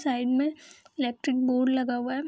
Side में electric board लगा हुआ है।